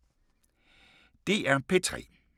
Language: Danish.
DR P3